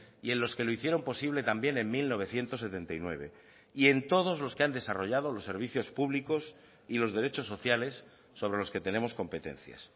y en los que lo hicieron posible también en mil novecientos setenta y nueve y en todos los que han desarrollado los servicios públicos y los derechos sociales sobre los que tenemos competencias